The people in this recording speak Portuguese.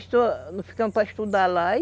ficamos para estudar lá e